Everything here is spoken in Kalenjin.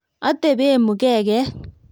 Atebe mkeket